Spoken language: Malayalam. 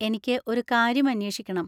എനിക്ക് ഒരു കാര്യം അന്വേഷിക്കണം.